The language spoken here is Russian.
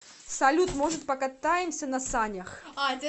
салют может покатаемся на санях